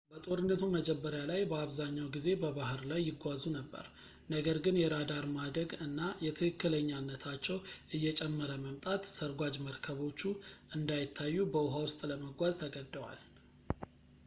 በጦርነቱ መጀመሪያ ላይ በአብዛኛው ጊዜ በባህር ላይ ይጓዙ ነበር ነገር ግን የራዳር ማደግ እና የትክክለኛነታቸው እየጨመረ መምጣት ሰርጓጅ መርከቦቹ እንዳይታዩ በውኃ ውስጥ ለመጓዝ ተገደዋል